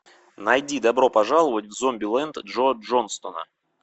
найди добро пожаловать в зомбилэнд джо джонстона